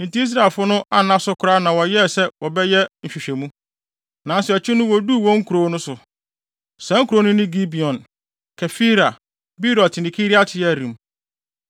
Enti Israelfo no anna so koraa na wɔyɛɛ sɛ wɔbɛyɛ nhwehwɛmu. Nnansa akyi no woduu wɔn nkurow no so. Saa nkurow no ne Gibeon, Kefira, Beerot ne Kiriat-Yearim.